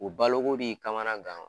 U balo ko b'i kamana gan